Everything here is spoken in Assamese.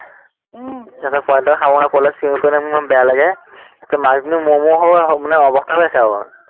উম তাৰপিছত পোৱালীকিটাই খাব নোৱাৰে, পাৱালীটোৱেে চিঞৰি ফুৰাননহয় মোৰ ইমান বেয়া লাগে, তাৰপিছত মাকজনী মৰো মৰো মানে অৱস্থা হৈ আছে আৰু